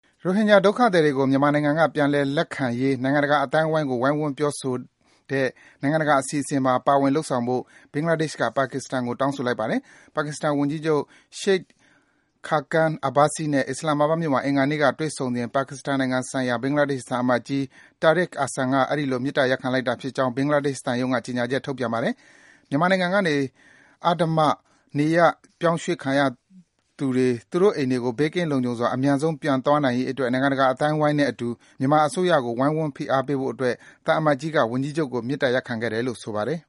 ရိုဟင်ဂျာ ဒုက္ခသည်တွေကို မြန်မာနိုင်ငံက ပြန်လည် လက်ခံရေး နိုင်ငံတကာ အသိုင်းအဝိုင်းကို ဝိုင်းဝန်းပြောဆိုတဲ့ နိုင်ငံတကာ အစီအစဉ်မှာ ပါဝင် လုပ်ဆောင်ဖို့ ဘင်္ဂလားဒေ့ရှ်က ပါကစ္စတန်နိုင်ငံကို တောင်းဆိုလိုက်ပါတယ်။ ပါကစ္စတန်ဝန်ကြီး Shaid Khaqan Abbasi နဲ့ အစ္စလာမ်မာဘတ် မြို့မှာ အင်္ဂါနေ့က တွေ့ဆုံစဉ် ပါကစ္စတန်နိုင်ငံဆိုင်ရာ ဘင်္ဂလားဒေ့ရှ် သံအမတ်ကြီး Tarik Ahsan က အဲဒီလို မေတ္တာရပ်ခံလိုက်တာဖြစ်ကြောင်း ဘင်္ဂလားဒေ့ရှ် သံရုံးက ကြေညာချက် ထုတ်ပြန် ပါတယ်။ မြန်မာနိုင်ငံကနေ အဓမ္မတ နေရပ်ရွေ့ပြောင်းခံရသူတွေ သူတို့ အိမ်တွေကို ဘေးကင်း လုံခြုံစွာ အမြန်ဆုံး ပြန်သွားနိုင်ရေးအတွက် နိုင်ငံတကာ အသိုင်းဝိုင်းနဲ့အတူ မြန်မာအစိုးရကို ဝိုင်းဝန်း ဖိအားပေးဖို့အတွက် သံအမတ်ကြီးက ဝန်ကြီးချုပ်ကို မေတ္တာရပ်ခံခဲ့တယ်လို့ ဆိုပါတယ်